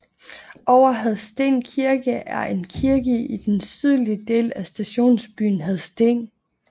Over Hadsten Kirke er en kirke i den sydlige del af stationsbyen Hadsten